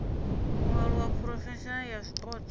u alusa phurofaili ya zwipotso